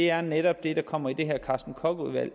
er netop det der kommer i det her carsten koch udvalg